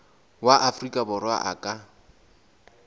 wa afrika borwa a ka